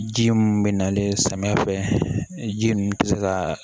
Ji mun be nalen samiya fɛ ji ninnu tɛ se ka